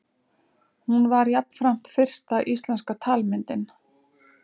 Hún var jafnframt fyrsta íslenska talmyndin.